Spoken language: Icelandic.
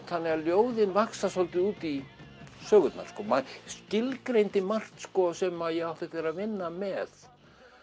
þannig að ljóðin vaxa svolítið út í sögurnar maður skilgreindi margt sem ég átti eftir að vinna með það